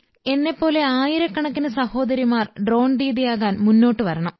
എന്നെപ്പോലെ ആയിരക്കണക്കിന് സഹോദരിമാർ ഡ്രോൺ ദീദിയാകാൻ മുന്നോട്ട് വരണം